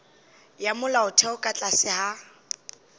ya molaotheo ka tlase ga